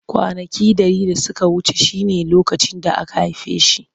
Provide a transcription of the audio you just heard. Kwanaki dari da suka wuce shine lokacin da aka haife shi.